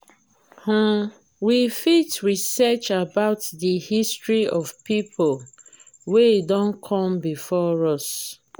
um we fit research about di history of pipo wey don come before us